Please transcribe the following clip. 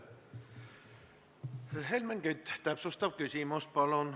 Helmen Kütt, täpsustav küsimus, palun!